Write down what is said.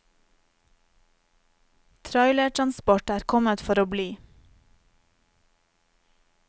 Trailertransport er kommet for å bli.